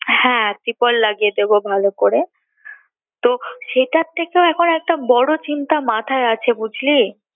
হ্যাঁ তিরপল লাগিয়ে দিবো ভালো করে তো সেটার থেকেও এখন একটা বড় চিন্তা মাথায় আছে বুঝলি